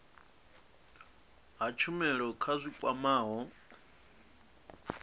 ha tshumelo dza zwi kwamaho